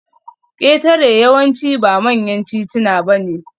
Ketare yawanci ba manyan tituna bane